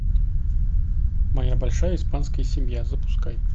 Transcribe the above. моя большая испанская семья запускай